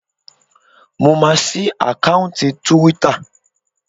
Mo maa sí àkáùntì túwítà